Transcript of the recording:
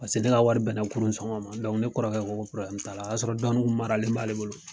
Paseke ne ka wari bɛnna kunun sɔngɔ ma ne kɔrɔkɛ ko ko t'a la o y'a sɔrɔ dɔnnin kun maralen b'ale bolo.